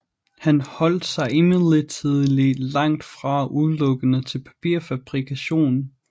Han holdt sig imidlertid langtfra udelukkende til papirfabrikationen